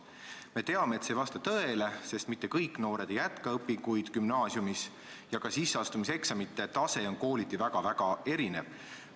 Me teame, et see ei vasta tõele, sest mitte kõik noored ei jätka õpinguid gümnaasiumis ja ka sisseastumiseksamite tase on kooliti väga-väga erinev.